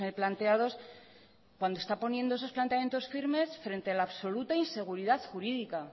planteados cuando está poniendo esos planteamientos firmes frente a la absoluta inseguridad jurídica